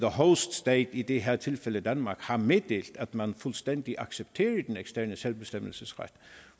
host state i det her tilfælde danmark har meddelt at man fuldstændig accepterer den eksterne selvbestemmelsesret